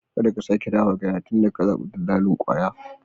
Karka sake dawowa gidana tunda ka zabi dillalin kwaya.